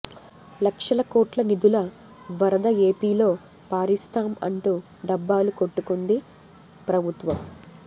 లక్షల కోట్ల నిధుల వరద ఏపీలో పారిస్తాం అంటూ డబ్బాలు కొట్టుకుంది ప్రభుత్వం